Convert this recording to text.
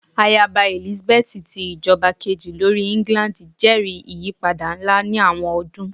Ayaba Elizabeth ti ijọba keji lori England jẹri iyipada nla ni awọn ọdun